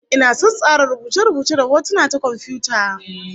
Ina son tsara rubuce-rubuce da hotuna ta komfiyuta